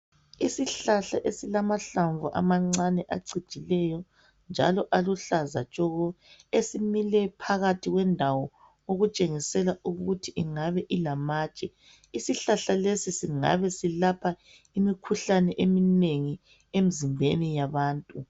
Isihlahla esilamahlamvu amancane acijileyo njalo aluhlaza tshoko esimile phakathi kwendawo okutshengisela ukuthi ingabe ilamatshe. Isihlahla lesi singabe silapha imikhuhlane eminengi emzimbeni yabantu.